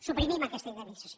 suprimim aquesta indemnització